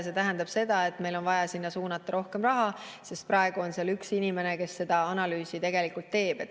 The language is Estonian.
See tähendab seda, et meil on vaja sinna suunata rohkem raha, sest praegu on seal üks inimene, kes seda analüüsi teeb.